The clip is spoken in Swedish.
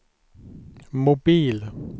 mobil